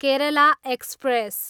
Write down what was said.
Kerala express